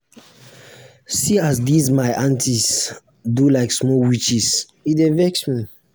see um as dese my aunties dey do like um small witches e dey vex me.